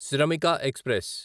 Shramik express